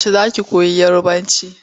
Yaushe za ki koyi Yarabanci?